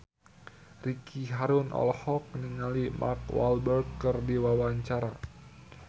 Ricky Harun olohok ningali Mark Walberg keur diwawancara